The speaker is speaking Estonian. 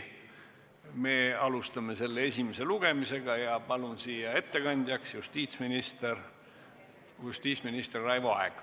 Me alustame selle esimest lugemist ja palun siia ettekandjaks justiitsminister Raivo Aegi.